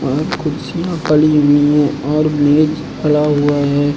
वहां कुर्सियां पड़ी हुई हैं और मेज पड़ा हुआ है।